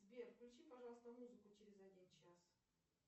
сбер включи пожалуйста музыку через один час